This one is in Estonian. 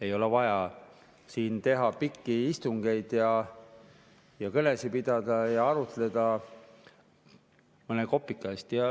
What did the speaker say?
Ei ole vaja siin teha pikki istungeid ja kõnesid pidada ja arutleda mõne kopika eest.